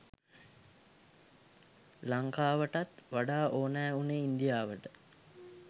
ලංකාවටත් වඩා ඕනෑ වුණේ ඉන්දියාවට